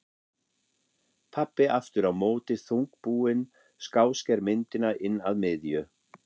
Pabbi aftur á móti þungbúinn skásker myndina inn að miðju.